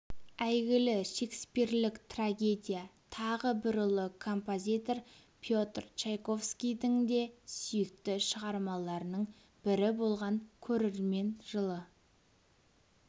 әйгілі шекспирлік трагедия тағы бір ұлы композитор петр чайковскийдің де сүйікті шығармаларының бірі болған көрермен жылы